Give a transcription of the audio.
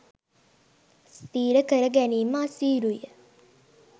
ස්ථීර කර ගැනීම අසීරුය.